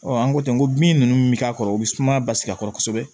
an ko ten n ko bin nunnu bɛ k'a kɔrɔ u bɛ suma basigi kɔrɔ kosɛbɛ